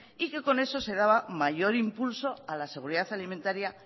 y que con eso se daba mayor impulso a la seguridad alimentaria